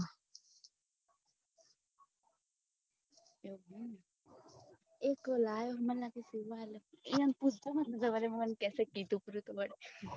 એક લાલ મને લાગે સિવા આપ્યો હતો યોને પૂછતા મત નતર વારી મને કેસે કીધું પડી વળી